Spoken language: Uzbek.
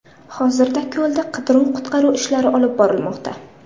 Hozirda ko‘lda qidiruv-qutqaruv ishlari olib borilmoqda.